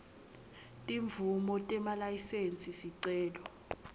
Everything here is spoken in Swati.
timvumo nemalayisensi sicelo